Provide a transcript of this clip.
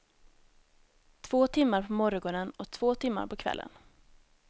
Två timmar på morgonen och två timmar på kvällen.